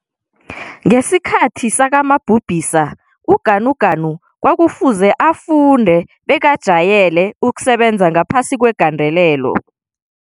Ngesikhathi sakamabhubhisa uGanuganu kwakufuze afunde bekajayele ukusebenza ngaphasi kwegandelelo.